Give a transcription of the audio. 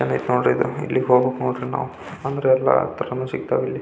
ಚಂದ್ ಐತಿ ನೋಡ್ರಿ ಇದು ಇಲ್ಲಿ ಹೋಗ್ಬೇಕು ನೋಡ್ರಿ ನಾವು ಅಂದ್ರ ಎಲ್ಲ ಸಿಗ್ತಾವೆ ಇಲ್ಲಿ --